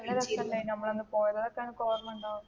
നല്ല രസം അല്ലാരുന്നോ നമ്മൾ അന്ന് പോയത് അതൊക്കെ നിനക്ക് ഓർമ്മയുണ്ടോ?